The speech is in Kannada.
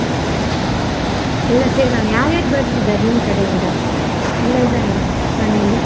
ಎಲ್ಲ ಸೇರೋಣ ಯಾರ್ಯಾರ್ ಬರ್ತಿದ್ದಾರೆ ನಿಮ್ಮ ಕಡೆಯಿಂದ ಎಲ್ಲ ಇದ್ದಾರಾ ಮನೆಯಲ್ಲಿ?